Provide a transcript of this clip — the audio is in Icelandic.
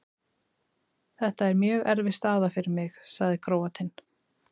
Þetta er mjög erfið staða fyrir mig, sagði Króatinn.